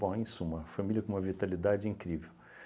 Bom, em suma, família com uma vitalidade incrível.